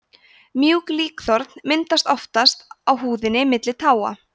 mjúk líkþorn myndast oftast á húðinni milli táa